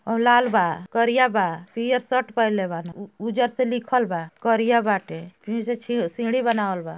और लाल बा करिया बा पिअर शर्ट पेहले वारन उ उजर से लिखल बा करिया बाटे सीढ़ी बनावल बा।